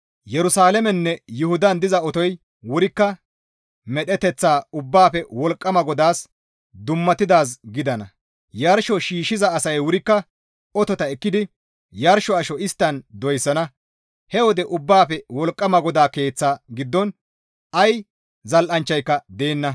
Yerusalaameninne Yuhudan diza otoy wurikka medheteththa Ubbaafe Wolqqama GODAAS dummatidaaz gidana; Yarsho shiishshiza asay wurikka otota ekkidi yarsho asho isttan doyssana; he wode Ubbaafe Wolqqama GODAA Keeththa giddon ay zal7anchchayka deenna.